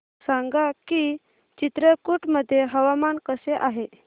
सांगा की चित्रकूट मध्ये हवामान कसे आहे